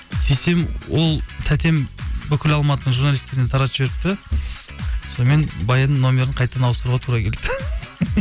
сөйтсем ол тәтем бүкіл алматының журналисттеріне таратып жіберіпті сонымен баянның нөмірін қайтадан ауыстыруға тура келді